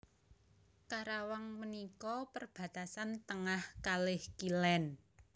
Karawang menika perbatasan tengah kalih kilen